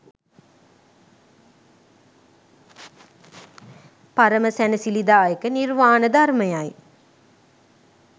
පරම සැනසිලිදායක නිර්වාණ ධර්මය යි